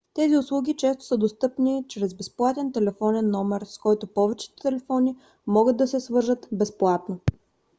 тези услуги често са достъпни чрез безплатен телефонен номер с който повечето телефони могат да се свържат безплатно